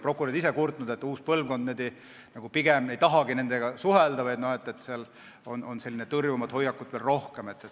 Prokurörid on kurtnud, et uus põlvkond ei tahagi nendega suhelda või et sellist tõrjuvat hoiakut on rohkem.